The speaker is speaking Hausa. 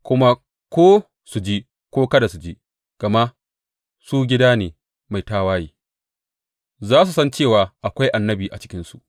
Kuma ko su ji ko kada su ji, gama su gida ne mai tawaye, za su san cewa akwai annabi a cikinsu.